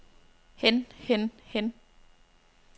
hen hen hen